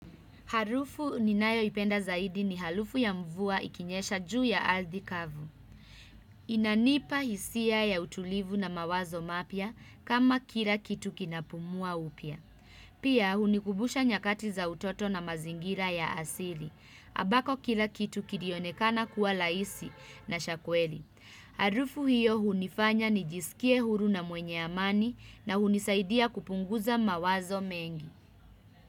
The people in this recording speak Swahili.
Harufu ninayo ipenda zaidi ni harufu ya mvua ikinyesha juu ya ardhikavu. Inanipa hisia ya utulivu na mawazo mapya kama kila kitu kinapumua upya. Pia hunikumbusha nyakati za utoto na mazingira ya asili. Ambako kila kitu kilionekana kuwa raisi na chakweli. Harufu hiyo hunifanya ni jisikie huru na mwenye amani na hunisaidia kupunguza mawazo mengi.